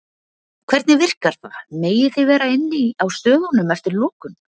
Hvernig virkar það, megið þið vera inni á stöðunum eftir lokun?